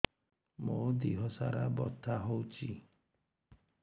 ମୋ ଦିହସାରା ବଥା ହଉଚି